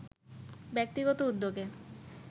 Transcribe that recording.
ব্যক্তিগত উদ্যোগে